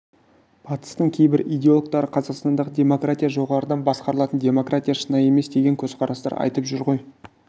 батыстың кейбір идеологтары қазақстандағы демократия жоғарыдан басқарылатын демократия шынайы емес деген көзқарастар айтып жүр ғой